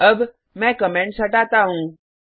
अब मैं कमेंट्स हटाता हूँ